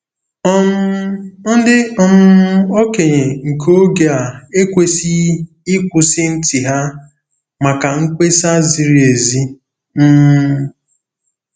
um Ndị um okenye nke oge a ekwesịghị ‘ịkwụsị ntị ha’ maka mkpesa ziri ezi um.